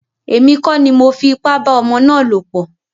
Èmi kọ́ ni mọ fi ipá bá ọmọ ná lọ̀ pọ̀.